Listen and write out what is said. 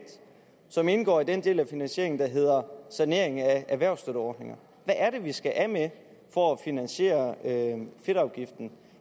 som indgår i den del af finansieringen der hedder sanering af erhvervsstøtteordninger hvad er det vi skal af med for at finansiere fedtafgiften